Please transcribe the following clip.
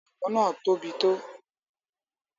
Àwọn gbọ̀ngàn náà tóbi tó.